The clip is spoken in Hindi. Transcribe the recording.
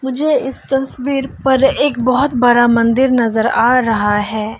मुझे इस तस्वीर पर एक बहुत बड़ा मंदिर नजर आ रहा है।